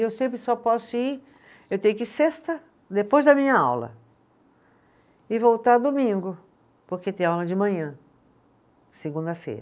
E eu sempre só posso ir, eu tenho que ir sexta, depois da minha aula, e voltar domingo, porque tem aula de manhã, segunda-feira.